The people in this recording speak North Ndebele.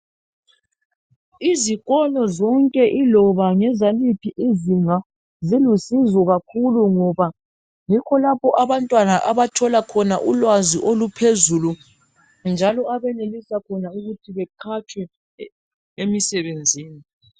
Izikolo zonke yiloba ezaliphi izinga zilusizo kakhulu ngoba yikho lapho abantwana abathola khona ulwazi oluphezulu njalo abanelisa khona ukuthi beqhatshwe emisebenzini.